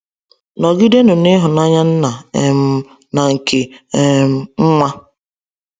Nọgidenụ n’Ịhụnanya Nna um na nke um Nwa.